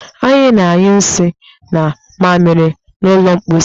Anyị na-anyụ nsị na mamịrị n'ụlọ mposi